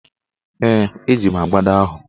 Ee, eji m agbada ahụ.